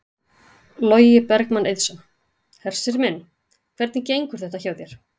Logi Bergmann Eiðsson: Hersir minn, hvernig gengur þetta hjá þér?